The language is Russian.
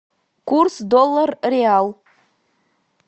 курс доллар реал